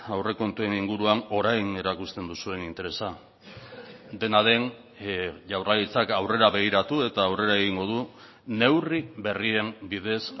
aurrekontuen inguruan orain erakusten duzuen interesa dena den jaurlaritzak aurrera begiratu eta aurrera egingo du neurri berrien bidez